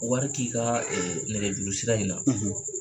Wɔri k'i kaa nɛgɛjuru sira in na.